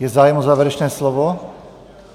Je zájem o závěrečné slovo?